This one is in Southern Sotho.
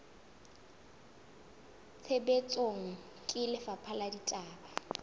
tshebetsong ke lefapha la ditaba